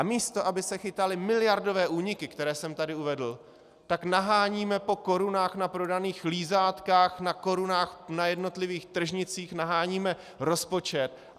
A místo aby se chytaly miliardové úniky, které jsem tady uvedl, tak naháníme po korunách na prodaných lízátkách, na korunách na jednotlivých tržnicích naháníme rozpočet.